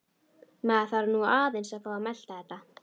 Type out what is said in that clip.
Maður þarf nú aðeins að fá að melta þetta.